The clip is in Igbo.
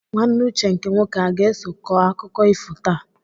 Nwanne Uche nke nwoke aga-eso kọọ akụkọ ifo taa?